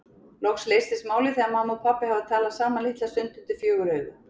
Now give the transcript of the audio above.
Loks leysist málið þegar mamma og pabbi hafa talað saman litla stund undir fjögur augu.